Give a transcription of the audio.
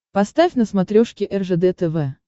поставь на смотрешке ржд тв